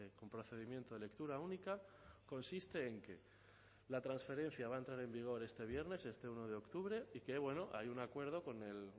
con procedimiento de lectura única consiste en que la transferencia va a entrar en vigor este viernes este uno de octubre y que bueno hay un acuerdo con el